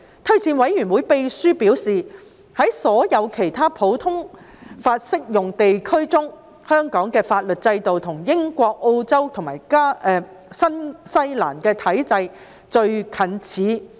推薦委員會秘書表示，在所有其他普通法適用地區中，香港的法律制度與英國、澳洲及新西蘭的體制最近似。